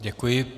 Děkuji.